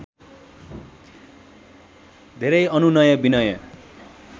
धेरै अनुनय विनय